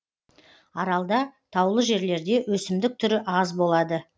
аралда таулы жерлерде өсімдік түрі аз болады